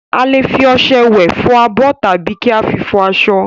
A lè fi ọṣẹ wẹ̀, fọ abọ́, tàbí kí a fi fọ aṣọ.